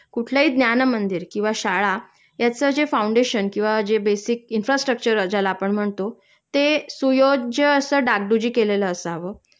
कुठलंही न्यानमंदिर किंवा शाळा याचं जे फौंडेशन किंवा जे बेसिक इन्फ्रास्ट्रक्चर ज्याला आपण म्हणतो ते सुयोज्य अस डागडुज्जी केलेलं असावं